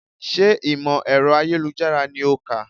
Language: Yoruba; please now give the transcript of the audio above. Sé ìmọ̀ ẹ̀rọ ayélujára ni o kà?